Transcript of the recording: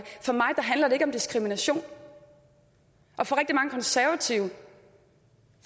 for mig handler det ikke om diskrimination og for rigtig mange konservative